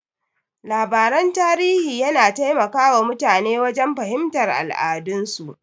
Labaran tarihi yana taimaka wa mutane wajen fahimtar al'adun su.